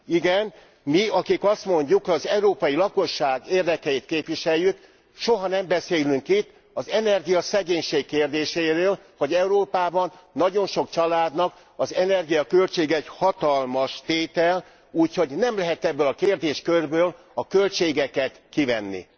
Igen, mi, akik azt mondjuk, hogy az európai lakosság érdekeit képviseljük, soha nem beszélünk itt az energiaszegénység kérdéséről, hogy Európában nagyon sok családnak az energiaköltség egy hatalmas tétel, úgyhogy nem lehet ebből a kérdéskörből a költségeket kivenni.